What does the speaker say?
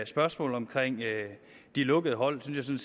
spørgsmålet om de lukkede hold synes jeg